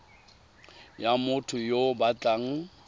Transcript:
ya motho yo o batlang